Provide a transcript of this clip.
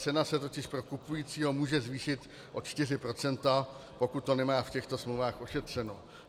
Cena se totiž pro kupujícího může zvýšit o 4 %, pokud to nemá v těchto smlouvách ošetřeno.